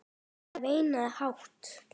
Það er veinað hátt.